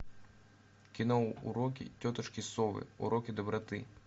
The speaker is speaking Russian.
кино уроки тетушки совы уроки доброты